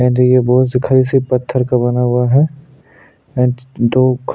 and ये बहुत सी खड़े से पत्थर का बना हुआ है एंड दो ख--